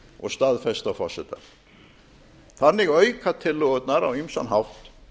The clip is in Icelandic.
og staðfest af forseta þannig auka tillögurnar á ýmsan hátt